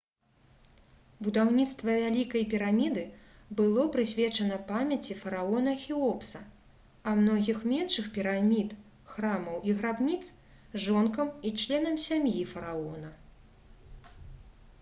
будаўніцтва вялікай піраміды было прысвечана памяці фараона хеопса а многіх меншых пірамід храмаў і грабніц жонкам і членам сям'і фараона